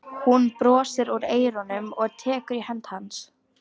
Hún brosir út að eyrum og tekur í hönd hans.